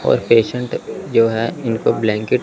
और पेशेंट जो है इनको ब्लांकेट --